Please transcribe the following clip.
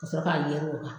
Ka sɔrɔ k'a yɛrɛ o kan